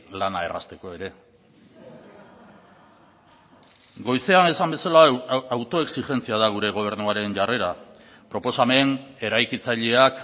lana errazteko ere goizean esan bezala autoexigentzia da gure gobernuaren jarrera proposamen eraikitzaileak